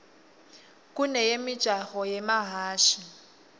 kuneyemijaho yemahhashi